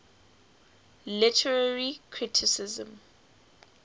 literary criticism